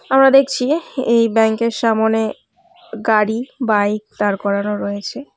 আমরা দেখছি এই ব্যাঙ্ক -এর সামোনে গাড়ি বাইক দাঁড় করানো রয়েছে।